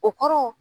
O kɔrɔ